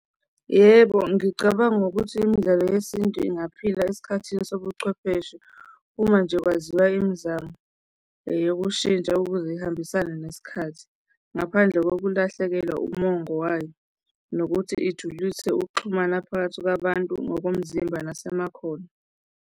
Yebo, ngicabanga ukuthi imidlalo yesintu ingaphila esikhathini sobuchwepheshe uma nje kwaziwa imizamo eyokushintsha ukuze ihambisane nesikhathi ngaphandle kokulahlekelwa umongo wayo nokuthi ijulise ukuxhumana phakathi kwabantu ngokomzimba nasemakhono.